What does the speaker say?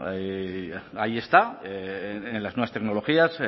ahí están en las nuevas tecnologías